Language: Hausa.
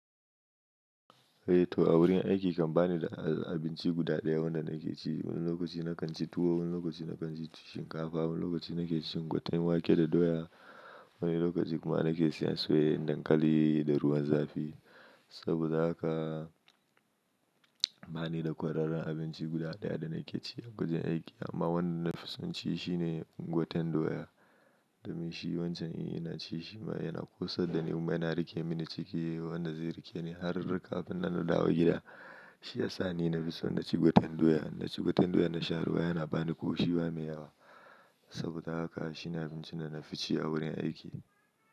Eh to a wurin aiki kan bani da abinci guda ɗaya wanda nake ci. Wani lokaci na kan ci tuwo, wani lokaci na kan ci shinkafa, wani lokaci na ke cin gwaten wake da doya, wani lokaci kuma na ke siyan soyayyen dankali da ruwan zafi. Saboda haka bani da kwararren abinci guda ɗaya da nake ciyi a wajen aiki amma wanda na fi son ci shine gwaten doya. Domin shi wancan in ina ci shi ma yana ƙosar dani, kuma yana rike mini ciki. Wanda zai rike ni har riga-kafin na dawo gida. Shi ya sa ni na fi son na ci gwaten doya. Na ci gwaten doya na sha ruwa yana bani ƙoshi, ba mi yawa. Saboda haka shi ne abincin da na fi ci a wurin aiki.